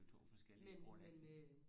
det er jo to forskellige sprog næsten